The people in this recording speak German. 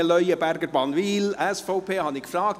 Samuel Leuenberger, Bannwil, SVP, habe ich gefragt;